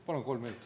Palun kolm minutit.